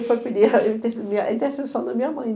E aí ele foi pedir a interce a intercessão da minha mãe.